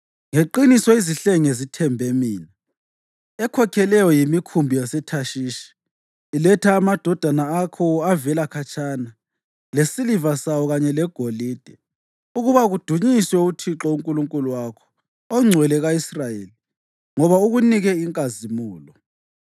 Ngeqiniso izihlenge zithembe mina; ekhokheleyo yimikhumbi yaseThashishi, iletha amadodana akho avela khatshana, lesiliva sawo kanye legolide ukuba kudunyiswe uThixo uNkulunkulu wakho, oNgcwele ka-Israyeli, ngoba ukunike inkazimulo.